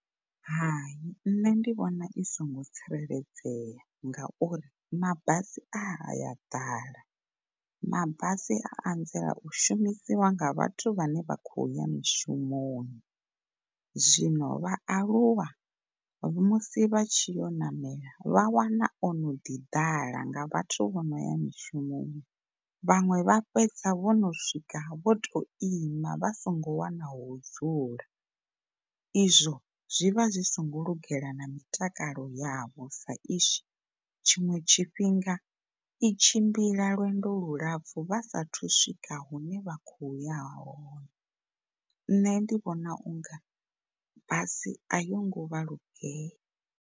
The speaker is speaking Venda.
Hai, nṋe ndi vhona i singo tsireledzea nga uri mabasi aya ḓala, mabasi a anzela u shumisiwa nga vhathu vhane vha kho ya mishumoni zwino vhaaluwa musi vha tshiyo u ṋamela vha wana ono ḓi ḓala nga vhathu vhono ya mishumoni vhaṅwe vha fhedza vhono swika vhoto ima vha songo wana ho dzula. Izwo zwivha zwi singo lugela na mitakalo yavho sa izwi tshiṅwe tshifhinga i tshimbila lwendo lu lapfu vha saathu swika hune vha kho ya hone, nṋe ndi vhona unga basi a i ngo vha lugela.